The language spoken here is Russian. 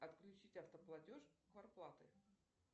отключить автоплатеж квартплаты